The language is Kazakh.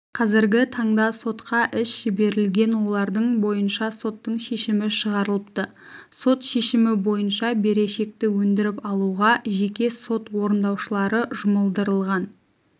қазіргі таңда сотқа іс жіберілген олардың бойынша соттың шешімі шығарылыпты сот шемімі бойынша берешекті өндіріп алуға жеке сот орындаушылары жұмылдырылған